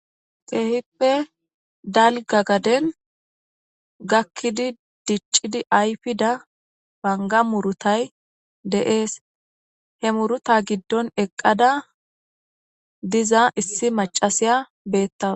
Keehippe dalgga gaden gakkidi diccidi ayfida banga murutay de'ees he muruta giddon eqqada diza issi macasiya beettawus